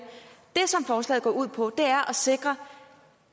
det som forslaget går ud på er at sikre